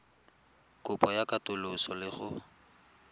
kopo ya katoloso le go